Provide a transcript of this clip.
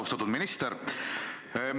Austatud minister!